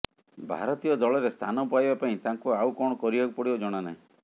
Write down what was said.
ଭାରତୀୟ ଦଳରେ ସ୍ଥାନ ପାଇବା ପାଇଁ ତାଙ୍କୁ ଆଉ କଣ କରିବାକୁ ପଡିବ ଜଣା ନାହିଁ